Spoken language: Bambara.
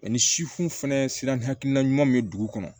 ni sifu fana sira ni hakilina ɲuman bɛ dugu kɔnɔ